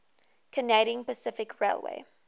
canadian pacific railway